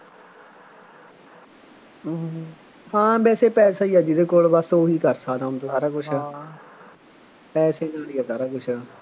ਹੂੰ ਹਾਂ ਵੈਸੇ ਪੈਸਾ ਹੀ ਜਿਹਦੇ ਕੋਲ ਬੱਸ ਉਹੀ ਕਰ ਸਕਦਾ ਹੁਣ ਤਾਂ ਸਾਰਾ ਕੁੱਛ ਪੈਸੇ ਨਾਲ ਹੀ ਆ ਸਾਰਾ ਕੁੱਛ